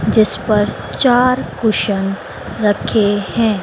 जिस पर चार कुशन रखे हैं।